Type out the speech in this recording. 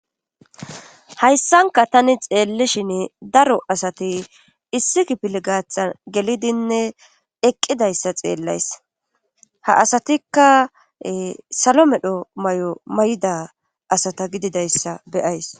Hayssanka tani xeellishin daro asati issi kipil gaatha gelidinne eqqidayssa xeellays ha asatikka salo medho mayo mayda asata gididayssa beyays.